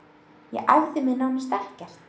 Ég æfði mig nánast ekkert.